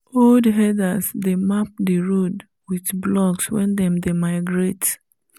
old herders dey map the road with blocks wen them dey migrate